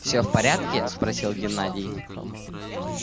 всё в порядке спросил геннадий